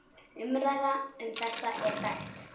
Umræða um þetta er þekkt.